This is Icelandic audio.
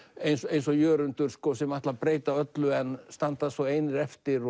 eins og Jörundur sem ætla að breyta öllu en standa svo einir eftir